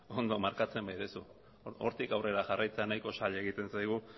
ondo markatzen baituzu hortik aurrera jarraitzea nahiko zaila egiten zaigu